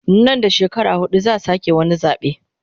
Nan da shekara hudu zaa sake wani zabe